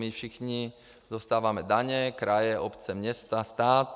My všichni dostáváme daně - kraje, obce, města, stát.